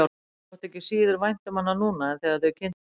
Honum þótti ekki síður vænt um hana núna en þegar þau kynntust.